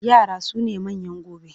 Yara su ne manyan gobe.